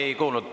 Ma ei kuulnud.